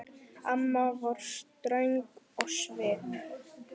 Amma var ströng á svip.